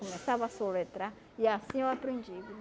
Começava a assoletrar, e assim eu aprendi.